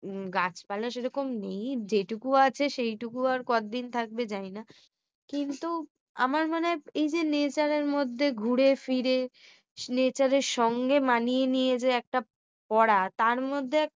গাছপালা সেরকম নেই যেটুকু আছে সেটুকু আর কতদিন থাকবে জানি না। কিন্তু আমার মনে হয়, এইযে nature মধ্যে ঘুরেফিরে নেচারের সঙ্গে মানিয়ে নিয়ে যে একটা পড়া